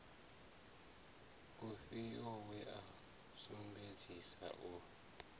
ufhio we a sumbedzesa u